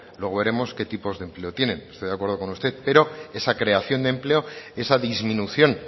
luego veremos qué tipo de empleo tienen estoy de acuerdo con usted pero esa creación de empleo esa disminución